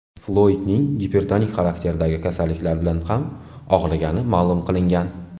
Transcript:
Floydning gipertonik xarakterdagi kasalliklar bilan ham og‘rigani ma’lum qilingan.